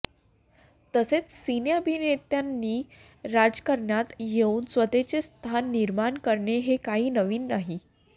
तसेच सिने अभिनेत्यांनी राजकारणात येवून स्वतःचे स्थान निर्माण करणे हे काही नवीन नाही